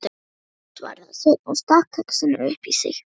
Já, svaraði Sveinn og stakk kexinu upp í sig.